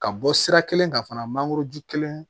Ka bɔ sira kelen kan fana mangoroju kelen